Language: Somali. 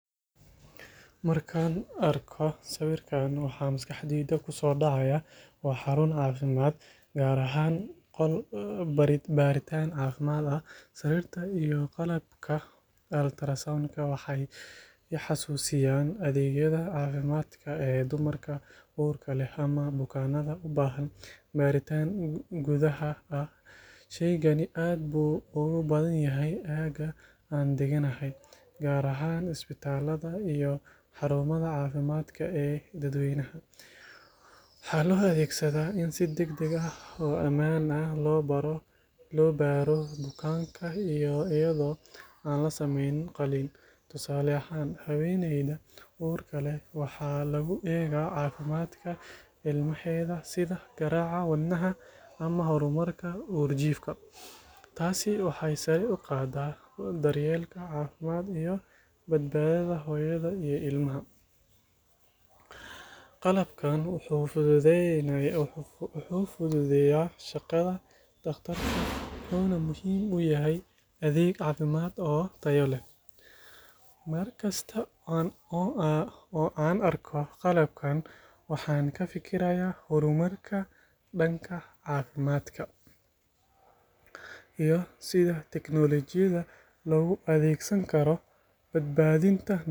Markaan arko sawirkan, waxa maskaxdayda ku soo dhacaya waa xarun caafimaad, gaar ahaan qol baaritaan caafimaad ah. Sariirta iyo qalabka ultrasound-ka waxay i xasuusinayaan adeegyada caafimaadka ee dumarka uurka leh ama bukaanada u baahan baaritaan gudaha ah. Shaygani aad buu ugu badan yahay aagga aan degganahay, gaar ahaan isbitaallada iyo xarumaha caafimaadka ee dadweynaha. Waxaa loo adeegsadaa in si degdeg ah oo ammaan ah loo baaro bukaanka iyadoo aan la sameyn qalliin. Tusaale ahaan, haweeneyda uurka leh waxaa lagu eegaa caafimaadka ilmaheeda, sida garaaca wadnaha ama horumarka uurjiifka. Taasi waxay sare u qaaddaa daryeelka caafimaad iyo badbaadada hooyada iyo ilmaha. Qalabkan wuxuu fududeeyaa shaqada dhaqtarka, wuxuuna muhiim u yahay adeeg caafimaad oo tayo leh. Markasta oo aan arko qalabkan, waxaan ka fikirayaa horumarka dhanka caafimaadka iyo sida teknoolojiyadda loogu adeegsan karo badbaadinta nolosha.